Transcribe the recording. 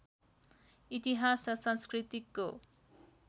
इतिहास र संस्कृतिको